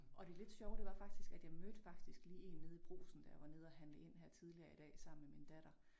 Og det lidt sjove det var faktisk at jeg mødte faktisk lige én nede Brugsen da jeg var nede at handle ind tidligere i dag sammen med min datter